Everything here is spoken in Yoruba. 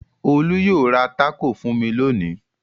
Olú yóò ra tákò fún mi lónìí.